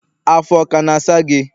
afọ ọ kana asa gi?